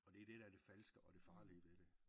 Og det er det der er det falske og det farlige ved det